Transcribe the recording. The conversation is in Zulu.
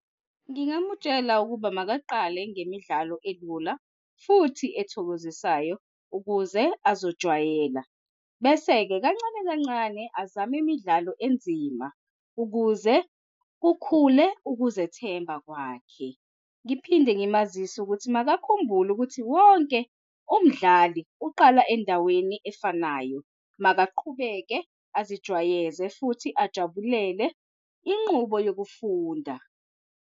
Ngingamutshela ukuba makaqale ngemidlalo elula futhi ezithokozisayo ukuze azojwayela. Bese-ke kancane kancane azame imidlalo enzima ukuze kukhule ukuzethemba kwakhe. Ngiphinde ngimazise ukuthi makakhumbule ukuthi wonke umdlali uqala endaweni efanayo makaqhubeke azijwayeze futhi ajabulele inqubo yokufunda.